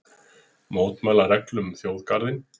Mótmæla reglum um þjóðgarðinn